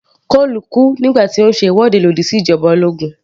Cole kú nígbà tí ó ń ṣe ìwọ́de lòdì sí ìjoba ológun